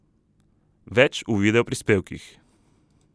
Več v videoprispevkih!